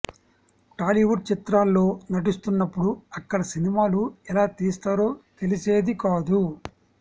టాలీవుడ్ చిత్రాల్లో నటిస్తున్నప్పుడు అక్కడ సినిమాలు ఎలా తీస్తారో తెలిసేది కాదు